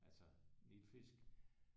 Altså Nilfisk